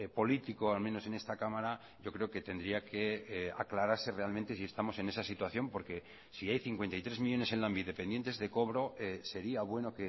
político al menos en esta cámara yo creo que tendría que aclararse realmente si estamos en esa situación porque si hay cincuenta y tres millónes en lanbide pendientes de cobro sería bueno